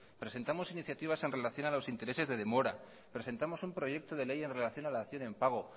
presentamos iniciativas en relación a los intereses de demora presentamos un proyecto de ley en relación a la dación en pago